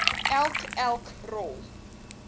elk elk rol